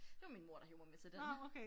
Det var min mor der hev mig med til den